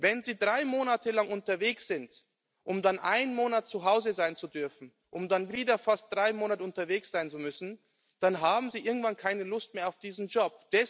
Wenn Sie drei Monate lang unterwegs sind, um dann einen Monat zu Hause sein zu dürfen, um dann wieder fast drei Monate unterwegs sein zu müssen, dann haben Sie irgendwann keine Lust mehr auf diesen Job.